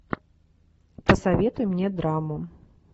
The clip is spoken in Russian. посоветуй мне драму